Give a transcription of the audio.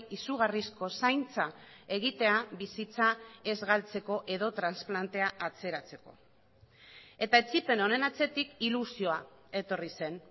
izugarrizko zaintza egitea bizitza ez galtzeko edo transplantea atzeratzeko eta etsipen honen atzetik ilusioa etorri zen